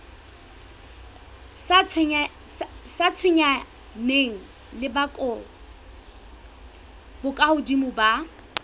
sa tshwenyaneng le bokahodimo ba